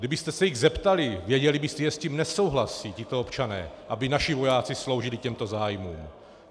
Kdybyste se jich zeptali, věděli byste, že s tím nesouhlasí tito občané, aby naši vojáci sloužili těmto zájmům.